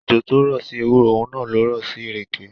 Òjò tó rọ̀ sí ewúro, òun náà lo rọ̀ sí ìrèké.